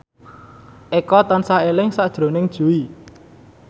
Eko tansah eling sakjroning Jui